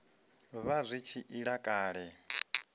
vha zwi tshi ila kale